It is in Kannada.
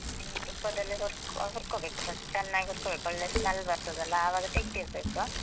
ಹ್ಮ ತುಪ್ಪದಲ್ಲೇ ಹುರ್ಕೊ ಹುರ್ಕೋಬೇಕು first , ಚನ್ನಾಗ್ ಹುರ್ಕೋಬೇಕು ಒಳ್ಳೆ smell ಬರ್ತದಲ್ಲ ಅವಾಗ ತೆಗ್ದಿಡ್ಬೇಕು.